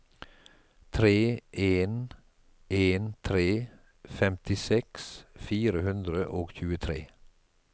tre en en tre femtiseks fire hundre og tjuetre